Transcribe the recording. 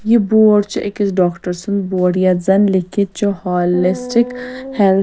یہِ بورڈ چُھ أکِس ڈاکڑسُنٛد بورڈ یتھ زن لیٚکِھتھ چُھ ہالِسٹِک ہٮ۪لتھ